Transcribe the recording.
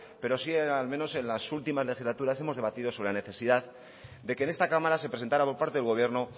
pero sí al menos en las últimas legislaturas hemos debatido sobre la necesidad de que en esta cámara se presentara por parte del gobierno